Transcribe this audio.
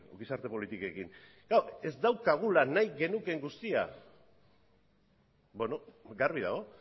gizarte politikekin klaro ez daukagula nahi genukeen guztia garbi dago